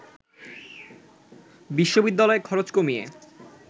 বিশ্ববিদ্যালয়ের খরচ কমিয়ে